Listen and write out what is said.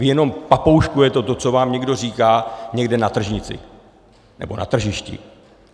Vy jenom papouškujete to, co vám někdo říká někde na tržnici nebo na tržišti.